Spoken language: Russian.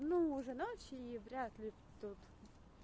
ну уже начали и вряд ли тут